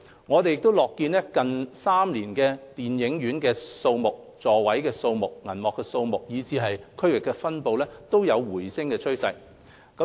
我們樂見近3年電影院數目、座位數目、銀幕數目和區域分布均有回升的趨勢。